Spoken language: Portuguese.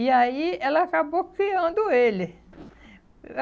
E aí ela acabou criando ele.